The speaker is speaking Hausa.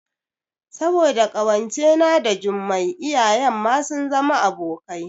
Saboda ƙawance na da Jummai iyayen ma sun zama abokai